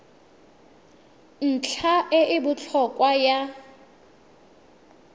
ntlha e e botlhokwa ya